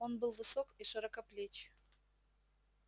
он был высок и широкоплеч